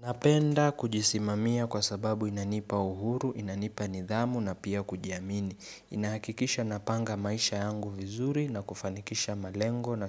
Napenda kujisimamia kwa sababu inanipa uhuru, inanipa nidhamu na pia kujiamini. Inahakikisha napanga maisha yangu vizuri na kufanikisha malengo na